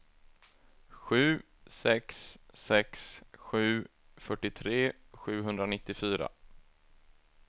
sju sex sex sju fyrtiotre sjuhundranittiofyra